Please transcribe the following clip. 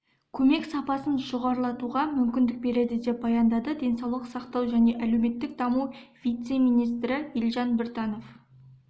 көмек сапасын жоғарылатуға мүмкіндік береді деп баяндады денсаулық сақтау және әлеуметтік даму вице-министрі елжан біртанов